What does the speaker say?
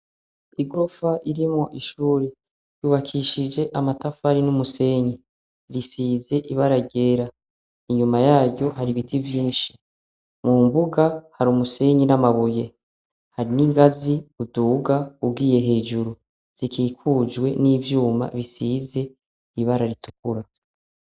Igofa irimwo ishuri yubakishije amatafari n'umusenyi risize ibara ryera, inyuma yaryo hari ibiti vyinshi, mu mbuga hari umusenyi n'amabuye hari n'ingazi uduga ugiye hejuru zikikujwe n'ivyuma bisize ibara ritukura.